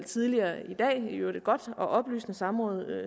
tidligere i dag i øvrigt et godt og oplysende samråd